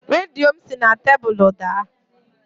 Redio m si na tebụlụ daa